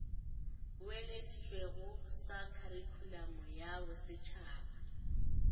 boeleditšwego sa kharikhulamo ya bosetšhaba